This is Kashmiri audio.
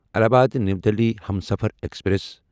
Allahabad new Delhi Humsafar express